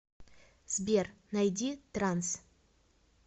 сбер найди транс